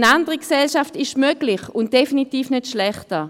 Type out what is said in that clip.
Eine andere Gesellschaft ist möglich, und definitiv nicht schlechter.